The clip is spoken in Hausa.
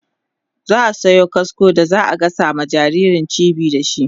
za'a Sayo kasko da za'a gasa ma jinjirin cibi da shi